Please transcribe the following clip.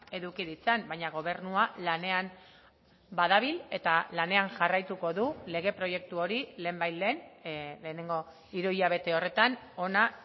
eduki ditzan baina gobernua lanean badabil eta lanean jarraituko du lege proiektu hori lehenbailehen lehenengo hiruhilabete horretan hona